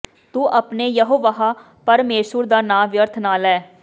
ਤੂੰ ਆਪਣੇ ਯਹੋਵਾਹ ਪਰਮੇਸ਼ੁਰ ਦਾ ਨਾਮ ਵਿਅਰਥ ਨਾ ਲੈ